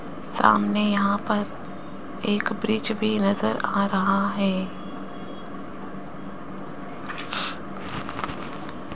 सामने यहां पर एक ब्रिज भी नजर आ रहा है।